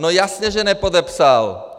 No jasně že nepodepsal!